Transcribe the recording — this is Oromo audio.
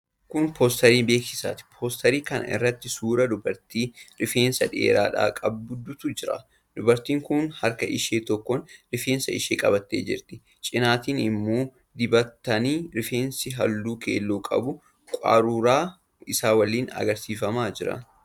Kun poosterii beeksisaati. Poosterii kana irratti suuraa dubartii rifeensa dhedheeraa qabduutu jira. Dubartiin kun harka ishee tokkoon rifeensa ishee qabattee jirti. Cinaatiin immoo dibatni rifeensaa halluu keelloo qabu qaruuraa isaa waliin agarsiifamaa jira.